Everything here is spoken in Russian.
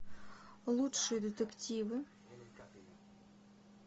лучшие детективы